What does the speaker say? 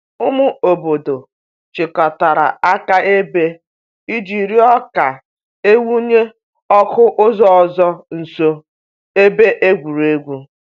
Ụmụ obodo chịkọtara akaebe iji rịọ ka e wụnye ọkụ ụzọ ọzọ nso ebe egwuregwu.